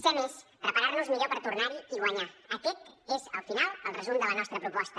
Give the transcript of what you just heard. ser més preparar nos millor per tornar hi i guanyar aquest és al final el resum de la nostra proposta